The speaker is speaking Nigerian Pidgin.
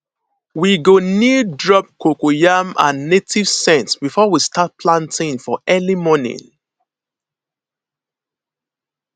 we go kneel drop coco yam and native scent before we start planting for early morning